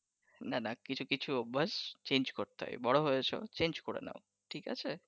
না না কিছু কিছু অভ্যাস change করতে হয় বড়ো হয়েছো change করে নাও